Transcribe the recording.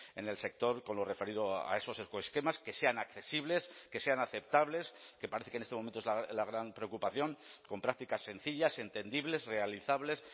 en el sector con lo referido a esos ecoesquemas que sean accesibles que sean aceptables que parece que en este momento es la gran preocupación con prácticas sencillas entendibles realizables